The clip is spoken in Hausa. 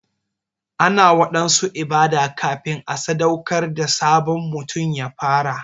Ana waɗansu ibada kafin a sadaukar da sabon mutum ya fara.